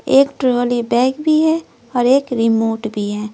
एक trolley bag भी है और एक रिमोट भी है।